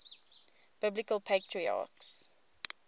biblical patriarchs